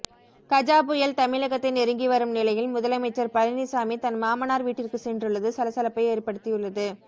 கஜா புயல் தமிழகத்தை நெருங்கிவரும் நிலையில் முதலமைச்சர் பழனிசாமி தன் மாமனார் வீட்டிற்கு சென்றுள்ளது சலசலப்பை ஏற்படுத்தியுள்ளது